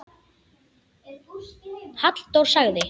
Halldór sagði: